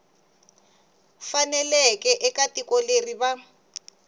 faneleke eka tiko leri va